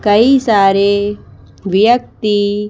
कई सारे व्यक्ति--